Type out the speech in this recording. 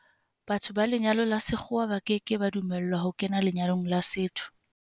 Batho ba lenyalo la sekgowa ba ke ke ba dumellwa ho kena lenyalong la setso.